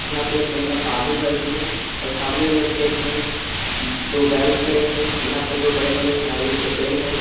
यहां पर एक महिला पानी भर रही है और सामने में खेत में दो बैल खड़े हैं यहां पर दो बड़े बड़े नारियल के पेड़ हैं।